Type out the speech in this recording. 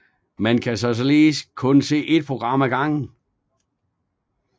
Man kan således kun se et program af gangen